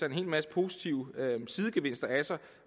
en hel masse positive sidegevinster af sig